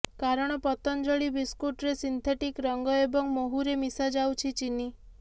କାରଣ ପତଞ୍ଜଳୀ ବିସ୍କୁଟରେ ସିନ୍ଥେଟିକ୍ ରଙ୍ଗ ଏବଂ ମହୁରେ ମିଶାଯାଉଛି ଚିନି